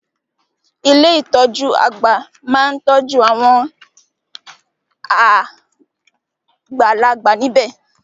Ilé ìtọjú àgbà máa n tọ́jú awon àgbàlagbà níbẹ̀.